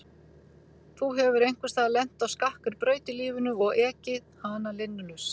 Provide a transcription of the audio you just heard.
Þú hefur einhvers staðar lent á skakkri braut í lífinu og ekið hana linnulaust.